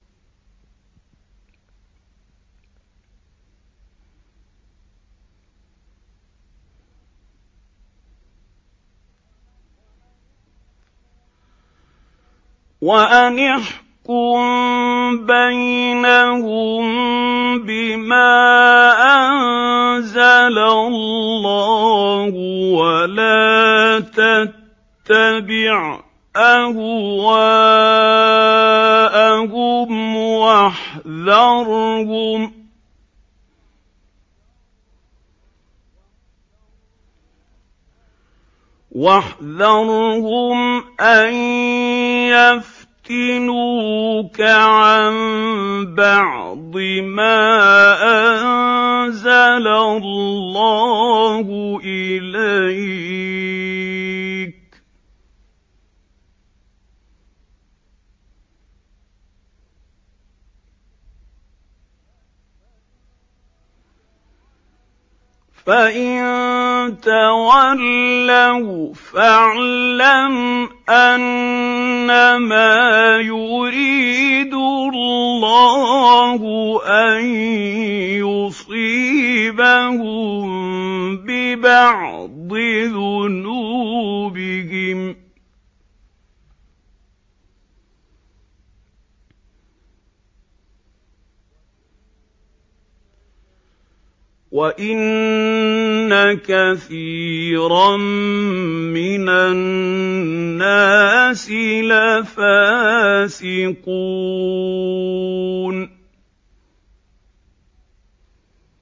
وَأَنِ احْكُم بَيْنَهُم بِمَا أَنزَلَ اللَّهُ وَلَا تَتَّبِعْ أَهْوَاءَهُمْ وَاحْذَرْهُمْ أَن يَفْتِنُوكَ عَن بَعْضِ مَا أَنزَلَ اللَّهُ إِلَيْكَ ۖ فَإِن تَوَلَّوْا فَاعْلَمْ أَنَّمَا يُرِيدُ اللَّهُ أَن يُصِيبَهُم بِبَعْضِ ذُنُوبِهِمْ ۗ وَإِنَّ كَثِيرًا مِّنَ النَّاسِ لَفَاسِقُونَ